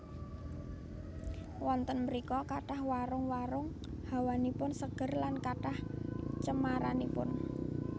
Wonten mrika kathah warung warung hawanipun seger lan kathah cemaranipun